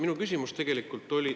Minu küsimus tegelikult oli …